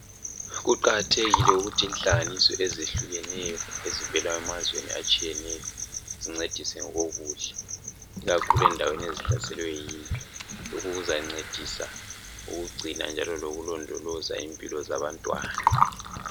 Kuqakathekile ukuthi inhlanganiso ezehlukeneyo ezivela emazweni atshiyeneyo zincedise ngokokudla ikakhulu endaweni ezihlaselwe yimpi lokhu kuzancedisa ukugcina njalo lokulondoloza impilo zabantwana.